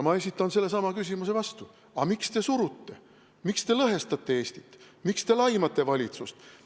Ma esitan sellesama küsimuse vastu: aga miks te lõhestate Eestit, miks te laimate valitsust?